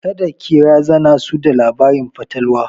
Kada ki razana su da labarin fatalwa!